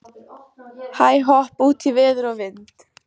Hæ-hopp út í veður og vind.